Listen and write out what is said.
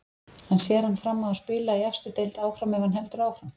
En sér hann fram á að spila í efstu deild áfram ef hann heldur áfram?